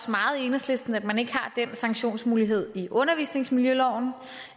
meget i enhedslisten at man ikke har den sanktionsmulighed i undervisningsmiljøloven